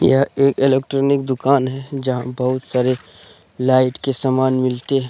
यह एक इलेक्ट्रॉनिक दुकान है जहां बहुत सारे लाइट के समान मिलते हैं।